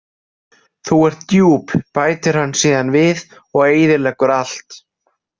Þú ert djúp, bætir hann síðan við og eyðileggur allt.